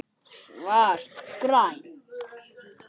Svar: Grænn